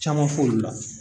Caman fɔ olu la